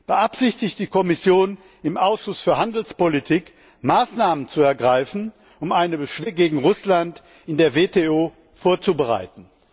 Beabsichtigt die Kommission, im Ausschuss für Handelspolitik Maßnahmen zu ergreifen, um eine Beschwerde gegen Russland in der WTO vorzubereiten?